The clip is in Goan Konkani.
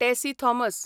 टॅसी थॉमस